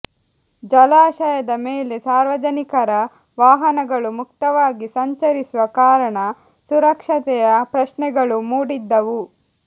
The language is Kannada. ಜಲಾಶಯದ ಮೇಲೆ ಸಾರ್ವಜನಿಕರ ವಾಹನಗಳು ಮುಕ್ತವಾಗಿ ಸಂಚರಿಸುವ ಕಾರಣ ಸುರಕ್ಷತೆಯ ಪ್ರಶ್ನೆಗಳೂ ಮೂಡಿದ್ದವು